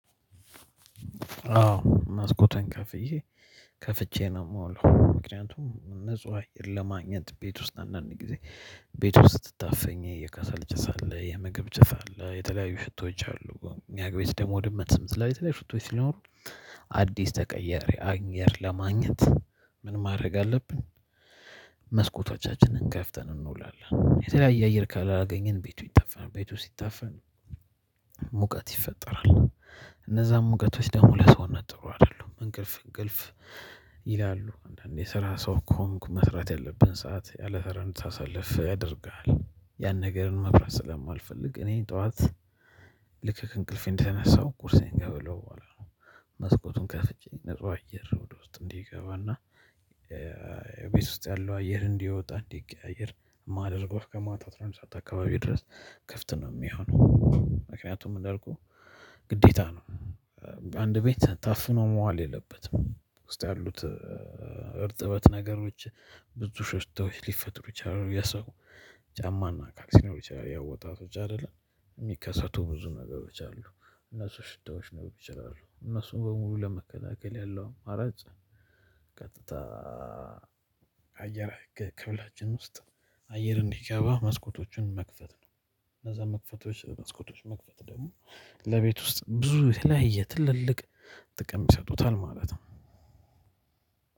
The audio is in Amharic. አዎ መስኮቴን ከፍዬ ከፍቼ ነው የምውለው። ምክንያቱም ንጹህ አየር ለማግኘት ቤት ውስጥ አንዳንድ ጊዜ ቤት ውስጥ ታፍኜ የከሰል ጭስ አለ። የምግብ ጭስ አለ። የተለያዩ ሽታዎች አሉ። እኛ ቤት ደግሞ ድመት ስላለ ሽታዎች ሲኖሩ አዲስ የተቀየረ አየር ለማግኘት ምን ማድረግ አለብን መስኮቶቻችንን ከፍተን እንውላለን የተለያየ አየር ካላገኘን ቤቱ ይታፈናል ቤቱ ሲታፈን ሙቀት ይፈጠራል እነዛም ሙቀቶች ደግሞ ለሰውነት ጥሩ አይደሉም። እንቅልፍ እንቅልፍ ይላሉ ለሚሰራ ሰው እኮ መስራት ያለብን ሰዓት ያለስራ እንድታሳልፍ ያደርግሃል ያን ነገርም መስራት ስለማልፈልግ እኔ ጠዋት ከእንቅልፌ እንደተነሳው ቁርሴን እበላለሁ መስኮቱን ከፍቼ ንጹህ አየር ወደ ውስጥ እንዲገባና ቤት ውስጥ ያለው አየር እንዲወጣ እንዲቀያየር ማደርገው እስከ ማታ አስራአንድ ሰዓት አካባቢ ድረስ ክፍት ነው የሚሆነው። ምክንያቱም እንዳልኩህ ግዴታ ነው አንድ ቤት ታፍኖ መዋል የለበትም ውስጥ ያሉት እርጥበት ነገሮች ብዙ ሽታዎች ሊፈጥሩ ይችላሉ። የሰው ጫማና አካል ሲኖሩ ያው ወጣቶች አይደለን የሚከሰቱ ብዙ ነገሮች አሉ እነሱ ሽታዎች ሊሆኑ ይችላሉ እነሱን በሙሉ ለመከላከል ያለው አራጭ ቀጥታ አየር ከውጭ ክፍላችን ውስጥ አየር እንዲገባ መስኮቶችን መክፈት ነው። እነዛ መክፈቶች መስኮቶች መክፈት ደግሞ ለቤት ውስጥ ብዙ የተለያየ ትልልቅ ጥቅም ይሰጡታል ማለት ነው።